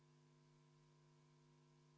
Austatud kolleegid!